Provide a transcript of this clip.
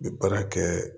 N bɛ baara kɛ